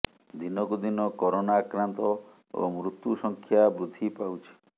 ଦିନକୁ ଦିନ କରୋନା ଆକ୍ରାନ୍ତ ଓ ମୃତ୍ୟୁ ସଂଖ୍ୟା ବୃଦ୍ଧି ପାଉଛି